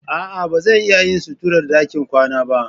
A'a, ba zan iya yin suturar ɗakin kwana ba.